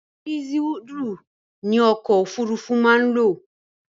Dísùlù ni ọkọ̀ òfurufú máa ń lò.